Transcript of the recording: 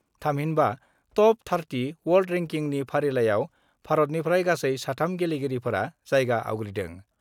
थामहिनबा टप-30 वर्ल्ड रेंकिनि फारिआव भारतनिफ्राय गासै साथाम गेलेगिरिफोरा जायगा आवग्रिदों।